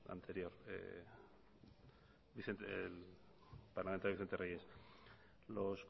parlamentario vicente reyes los